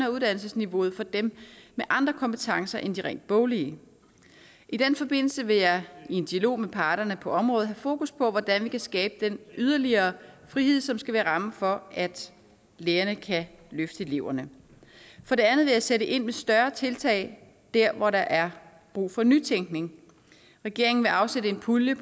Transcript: af uddannelsesniveauet for dem med andre kompetencer end de rent boglige i den forbindelse vil jeg i dialog med parterne på området have fokus på hvordan vi kan skabe den yderligere frihed som skal være rammen for at lærerne kan løfte eleverne for det andet vil jeg sætte ind med større tiltag der hvor der er brug for nytænkning regeringen vil afsætte en pulje